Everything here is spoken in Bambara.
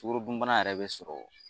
Sukorodun bana yɛrɛ bɛ sɔrɔ